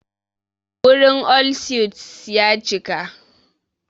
Wurin all suites ya cika.